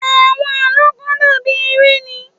Àwọn àlọ́́ kàn dà bí eré ni.